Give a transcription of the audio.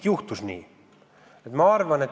– juhtus nii.